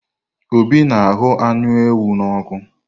Obi na ahụ́ anụ ewu na ọ́kụ.